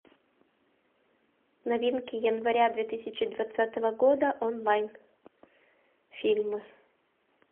новинки января две тысячи двадцатого года онлайн фильмы